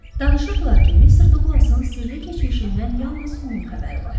Danışırdılar ki, Mr. Duqlasın sirli keçmişindən yalnız onun xəbəri var.